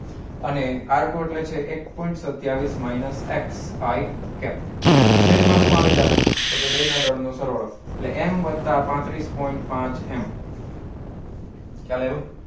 અને r two એટલે એક point સત્યાવીસ minus xi cap છેદ માં શું આવી જશે તો કે બેય ના દળ નો સરવાળો એટલે m વત્તા પાંત્રિસ point પાંચ m ખ્યાલ આવ્યો